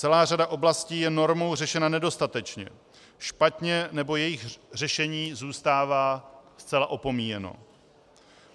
Celá řada oblastí je normou řešena nedostatečně, špatně, nebo jejich řešení zůstává zcela opomíjeno.